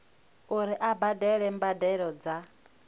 uri a badele mbadelo dza